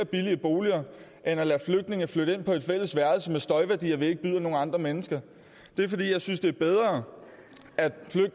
billige boliger end at lade flygtninge flytte ind på et fælles værelse med støjværdier vi ikke byder nogen andre mennesker det er fordi jeg synes det er bedre at